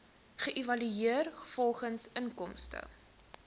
geëvalueer volgens inkomste